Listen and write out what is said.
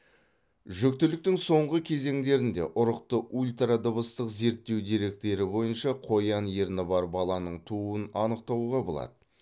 жүктіліктің соңғы кезеңдерінде ұрықты ультрадыбыстық зерттеу деректері бойынша қоян ерні бар баланың тууын анықтауға болады